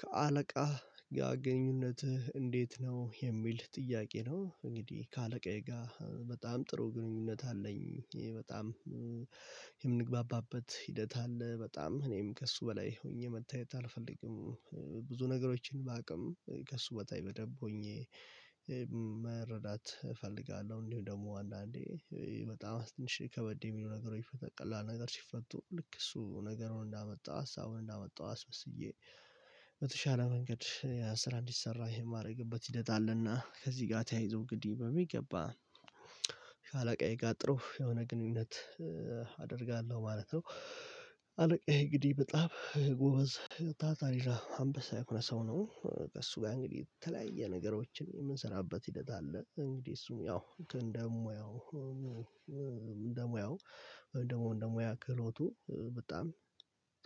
ከአለቃህ ጋር ግንኙነትህ እንዴት ነው የሚል ጥያቄ ነው? እንግዲህ ከአለቃዬ ጋር በጣም ጥሩ ግንኙነት አለኝ። ይሄ በጣም የምንግባባበት ሂደት አለ በጣም ከእሱ በላይ ሆኜ መታየት አልፈልግም። ብዙ ነገሮችን ባቅም ከእሱ በታይ በደንብ ሆኜ መረዳት እፈልጋለሁ። እንዲሁ ደግሞ አንዳንዴ በጣም አስትንሽ ከበድ የሚሉ ነገር በቀላል ነገር ሲፈቱ ልክ እሱ ነገሩን እንዳመጣው ሀሳቡን እንዳመጣው አስመስዬ በተሻለ መንገድ የስራ እንዲሰራ የማድረግበት ሂደት አለና ከዚህ ጋር ተያይዞ እንግዲህ ሚገባ ጋጥሮ የሆነ ግንኙነት አደርጋለሁ ማለት ነው። አለቃዬ እንግዲህ በጣም ጎበዝ ታታሪ አምበሳ የሆነ ሰው ነው። ከእሱ ጋር እንግዲህ የተለያየ ነገሮችን የምንሰራበት ሂደት አለ እንግዲህ እሱም ያው እንደሙያው እንደሙያው ወይም ደግሞ እንደ ሞያው ክህሎቱ በጣም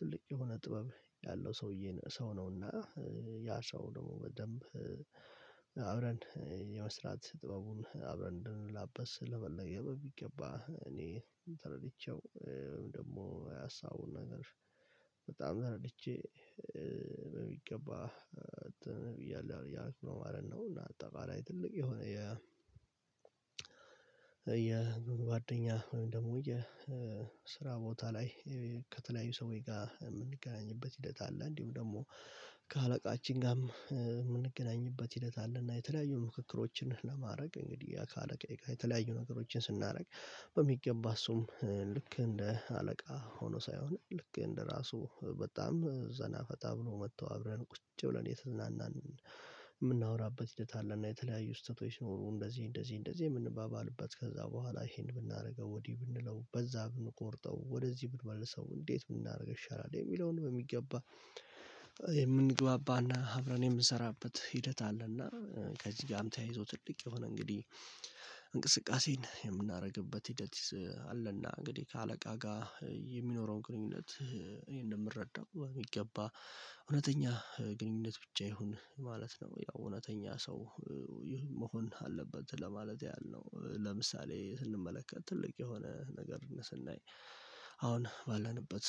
ትልቅ የሆነ ጥበብ ያለው ሰውዬን ሰው ነውና። ያ ሰው ደግሞ በደንብ አብረን የመስራት ጥበቡን አብረን እንድንላበስ ለመለገብ ቢገባ እኔ ተረድቼው ወይም ደግሞ ሀሳቡን ነገር በጣም ደረድቼ በሚገባ ብያለሁ ያው እያልኩ ማለት ነው። እና አጠቃላይ ትልቅ የሆነ የ የጓደኛ ወይም ደግሞ የስራ ቦታ ላይ ከተለያዩ ሰዎች ጋር የምንገናኝበት ሂደት አለ። እንዲሁም ደግሞ ከአለቃችን ጋርም የምንገናኝበት ሂደት አለና የተለያዩ ምክክሮችን ለማድረግ እንግዲህ ከአለቃዬ ጋር የተለያዩ ነገሮችን ስናደርግ በሚገባ እሱም ልክ እንደ አለቃ ሆኖ ሳይሆን ልክ እንደ ራሱ በጣም ዘና ፈታ ብሎ መጥቶ አብረን ቁጭ ብለን እየተዝናናን የምናወራበት ሂደት አለና። የተለያዩ ስተቶችሲ ኖሮ እንደዚህ እንደዚህ እንደዚህ የምንባባልበት ከዛ በኋላ ይሄን ብናደርገው ወዲህ ብንለው በዛ ብንቆርጠው ወደዚህ ብንመልሰው እንዴት ምን ብናደርግ ይሻላል የሚለውን በሚገባ የምንግባባና አብረን የምንሰራበት ሂደት አለና። ከዚህ ጋርም ተያይዞ ትልቅ የሆነ እንግዲህ እንቅስቃሴን የምናደርግበት ሂደት አለና እንግዲህ ከአለቃ ጋር የሚኖረውን ግንኙነት እኔ እንደምረዳው የሚገባ እውነተኛ ግንኙነት ብቻ ይሁን ማለት ነው። ያው እውነተኛ ሰው መሆን አለበት ለማለት ያህል ነው። ለምሳሌ ስንመለከት ትልቅ የሆነ ነገር ስናይ አሁን ባለንበት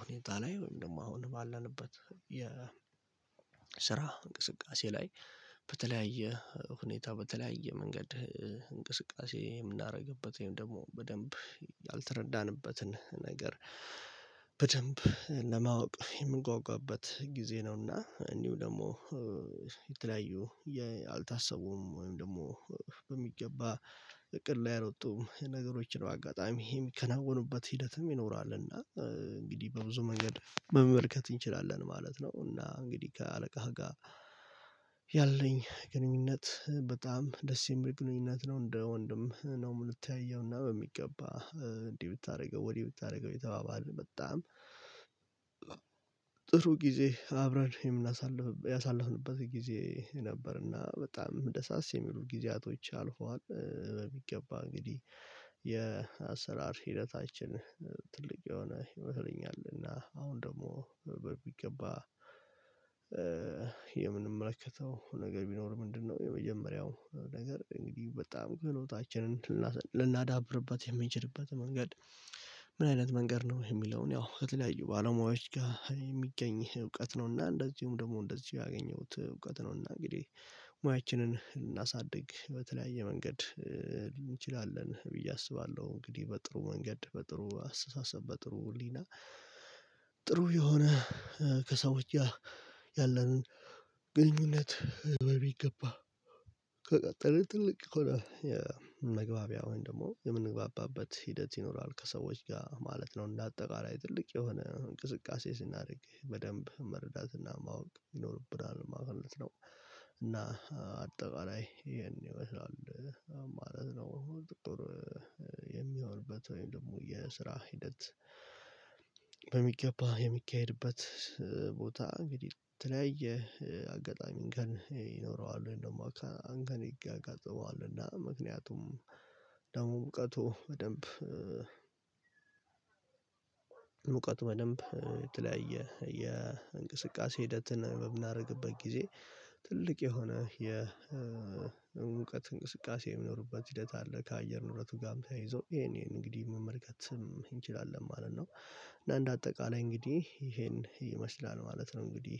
ሁኔታ ላይ ወይም ደግሞ አሁን ባለንበት የስራ እንቅስቃሴ ላይ በተለያየ ሁኔታ በተለያየ መንገድ እንቅስቃሴ የምናደርግበት ወይም ደግሞ በደንብ ያልተረዳንበትን ነገር በደንብ ለማወቅ የምንጓጓበት ጊዜ ነውና እንዲሁ ደግሞ የተለያዩ ያልታሰቡም ወይም ደግሞ በሚገባ እቅድ ላይ ያሎጡም ነገሮችን በአጋጣሚ የሚከናወኑበት ሂደትም ይኖራልና እንግዲህ በብዙ መንገድ መመልከት እንችላለን ማለት ነው። እና እንግዲህ ከአለቃ ጋር ያለኝ ግንኙነት በጣም ደስ የሚል ግንኙነት ነው። እንደ ወንድም ነው የምተያየው እና በሚገባ እንዲህ ብታደርገው ወዲህ ብታደርገው እየተባባልን በጣም ጥሩ ጊዜ አብረን የምናሳልፍ ያሳለፍንበት ጊዜ ነበርና በጣም ደሳስ የሚሉ ጊዜያቶች አልፈዋል። በሚገባ እንግዲህ የአሰራር ሂደታችን ትልቅ የሆነ ይመስለኛል። እና አሁን ደግሞ በሚገባ የምንመለከተው ነገር ቢኖር ምንድነው? የመጀመሪያው ነገር እንግዲህ በጣም ክህሎታችንን ልናዳብርበት የምንችልበትን መንገድ ምን አይነት መንገድ ነው የሚለውን ያው ከተለያዩ ባለሙያዎች ጋር የሚገኝ እውቀት ነውና። እንደዚሁም ደግሞ እንደዚሁ ያገኘሁት እውቀት ነውና። እንግዲህ ሙያችንን ልናሳድግ በተለያየ መንገድ እንችላለን ብዬ አስባለሁ። እንግዲህ በጥሩ መንገድ በጥሩ አስተሳሰብ በጥሩ ህሊና ጥሩ የሆነ ከሰዎች ጋር ያለንን ግንኙነት በሚገባ ከቀጠልን ትልቅ የሆነ የመግባቢያ ወይም ደግሞ የምንግባባበት ሂደት ይኖራል ከሰዎች ጋር ማለት ነው። እንደ አጠቃላይ ትልቅ የሆነ እንቅስቃሴ ስናደርግ በደንብ መረዳትና ማወቅ ይኖርብናል ማለት ነው። እና አጠቃላይ ይሄን ይመስላል ማለት ነው። ጥሩ የሚሆንበት ወይም ደግሞ የስራ ሂደት በሚገባ የሚካሄድበት ቦታ እንግዲህ ተለያየ አጋጣሚ እንከን ይኖረዋል ወይም ደግሞ አንከን ያጋጥመዋልና ምክንያቱም ደግሞ እውቀቱ በደንብ እውቀቱ በደንብ የተለያየ የእንቅስቃሴ ሂደትን በምናደርግበት ጊዜ ትልቅ የሆነ የእውቀት እንቅስቃሴ የሚኖርበት ሂደት አለ። ከአየር ንብረቱ ጋርም ተያይዞ ይሄን ይሄን እንግዲህ መመልከት እንችላለን ማለት ነው። እና እንደ አጠቃላይ እንግዲህ ይሄን ይመስላል ማለት ነው። እንግዲህ